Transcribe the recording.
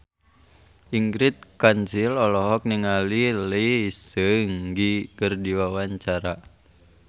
Ingrid Kansil olohok ningali Lee Seung Gi keur diwawancara